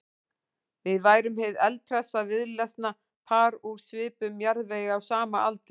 Við værum hið eldhressa víðlesna par úr svipuðum jarðvegi á sama aldri.